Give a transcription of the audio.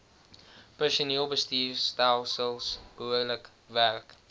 personeelbestuurstelsels behoorlik werk